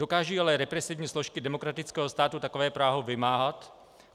Dokážou ale represivní složky demokratického státu takové právo vymáhat?